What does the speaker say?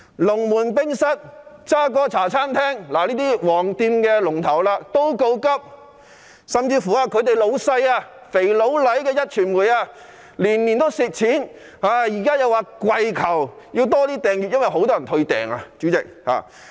龍門冰室及渣哥茶餐廳等"黃店"龍頭也告急，連他們的老闆"肥佬黎"的壹傳媒也是年年虧蝕，現在更要跪求增加訂閱，因為有很多人退訂。